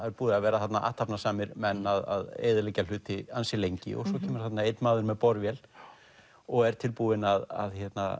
hafa verið þarna athafnasamir menn að eyðileggja hluti ansi lengi og svo kemur þarna einn maður með borvél og er tilbúinn að